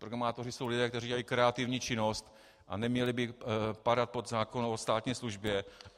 Programátoři jsou lidé, kteří dělají kreativní činnost, a neměli by padat pod zákon o státní službě.